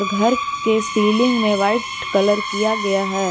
घर के सीलिंग मे व्हाइट कलर किया गया है।